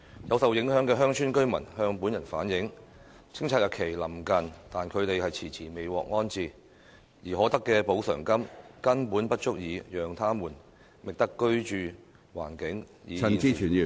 有受影響的鄉村居民向本人反映，清拆日期臨近但他們遲遲未獲安置，而可得的補償金根本不足以讓他們覓得居住環境與現時相若的居所......